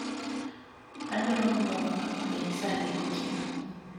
adwaro mondo wang'a orieny sa adek otieno